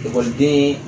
Ekɔliden